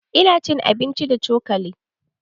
Ina cin abinci da cokali